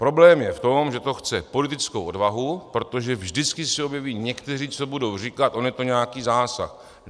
Problém je v tom, že to chce politickou odvahu, protože vždycky se objeví někteří, co budou říkat: on je to nějaký zásah.